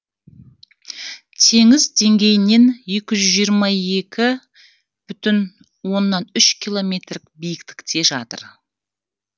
теңіз деңгейінен екі жүз жиырма екі бүтін оннан үш километр биіктікте жатыр